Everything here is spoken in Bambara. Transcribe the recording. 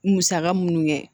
Musaka minnu kɛ